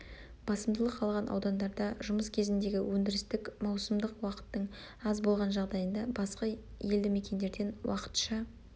басымдылық алған аудандарда жұмыс кезеңіндегі өндірістік маусымдық уақыттың аз болған жағдайында басқа елді мекендерден уақытша